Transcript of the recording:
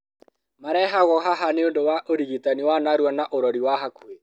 Marehagwo haha nĩũndũ wa ũrĩgitani wa narua na ũrori wa hakuhĩ